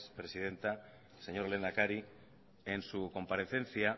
presidenta señor lehendakari en su comparecencia